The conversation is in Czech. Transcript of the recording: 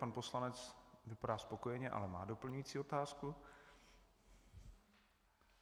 Pan poslanec vypadá spokojeně, ale má doplňující otázku.